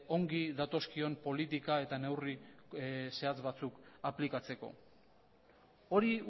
ongi datozkion politika eta neurri zehatz batzuk aplikatzeko hori